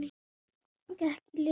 Gekk í lið með henni.